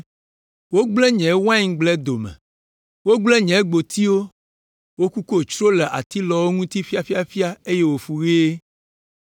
Wogblẽ nye waingble dome. Wogblẽ nye gbotiwo, wokuko tsro le atilɔwo ŋuti ƒiaƒiaƒia eye wofu ɣie.